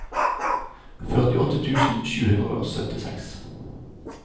førtiåtte tusen sju hundre og syttiseks